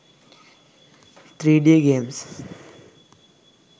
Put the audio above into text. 3d games